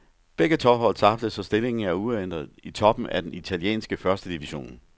Begge tophold tabte, så stillingen er uændret i toppen af den italienske første division.